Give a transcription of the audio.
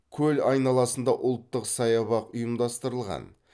көл айналасында ұлттык саябақ ұйымдастырылған